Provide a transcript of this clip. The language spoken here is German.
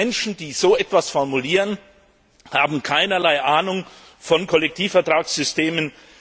Menschen, die so etwas formulieren, haben keine Ahnung von Kollektivvertragssystemen.